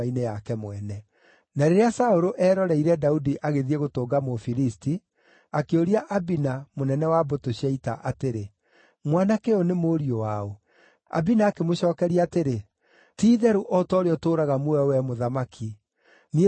Na rĩrĩa Saũlũ eroreire Daudi agĩthiĩ gũtũnga Mũfilisti, akĩũria Abina, mũnene wa mbũtũ cia ita, atĩrĩ, “Mwanake ũyũ nĩ mũriũ waũ?” Abina akĩmũcookeria atĩrĩ, “Ti-itherũ o ta ũrĩa ũtũũraga muoyo wee mũthamaki, niĩ ndiũĩ nĩ waũ.”